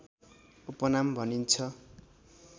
उपनाम भनिन्छ